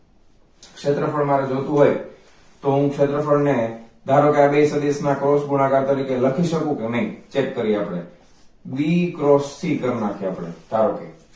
શેત્રફળ મારે જોતું હોય તો હું શેત્રફલ ને ધારો કે આ ને સદિસ ના cross ગુણાકાર તરીકે લખી સકુ કે નઈ check કરીએ આપણે. B cross C કર નાખીએ આપણે ધારો કે